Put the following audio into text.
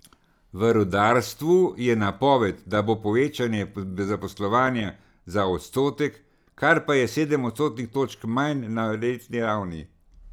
V rudarstvu je napoved, da bo povečanje zaposlovanja za odstotek, kar pa je sedem odstotnih točk manj na letni ravni.